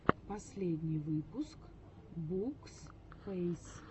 последний выпуск букспэйс